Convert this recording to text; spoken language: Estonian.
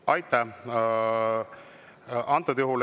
Aitäh!